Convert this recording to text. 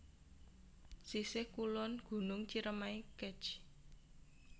Sisih Kulon Gunung Ciremai Kec